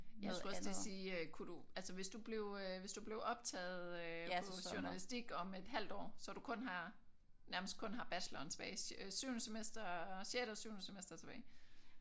Jeg skulle også til at sige øh kunne du altså hvis du blev øh hvis du blev optaget øh på journalistik om et halvt år så du kun har nærmest kun har bacheloren tilbage syvende semester sjette og syvende semester tilbage